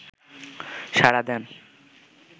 সাড়া দেন